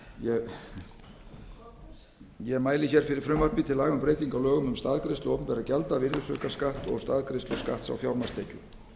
dag ég mæli fyrir frumvarpi til laga um breytingu á lögum um staðgreiðslu opinberra gjalda virðisaukaskatt og staðgreiðslu skatts á fjármagnstekjur